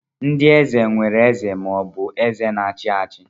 Ndị eze nwere eze ma ọ bụ eze na-achị achị.